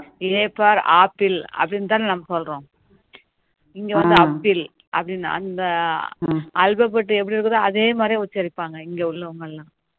a for apple அப்டின்னு தானே நம்ம சொல்றோம் இங்க வந்து அப்பிள் அப்படின்னு அந்த alphabetic எப்படி இருக்குதோ அதே மாதிரி உச்சரிப்பாங்க இங்க உள்ளவங்க